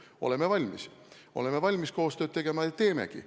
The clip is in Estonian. Oleme valmis – oleme valmis koostööd tegema ja teemegi.